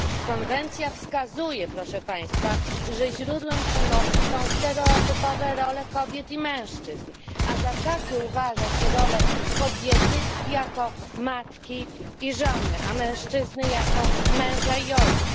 Konwencja wskazuje, proszę Państwa, że źródłem przemocy są stereotypowe role kobiet i mężczyzn, a za takie uważa się role kobiety jako matki i żony, a mężczyzny jako męża i ojca.